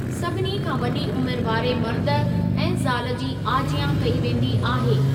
सभिनी खां वडी॒ उमिरि वारे मर्द ऐं ज़ाल जी आजियां कई वेंदी आहे।